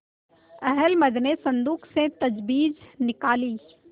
अहलमद ने संदूक से तजबीज निकाली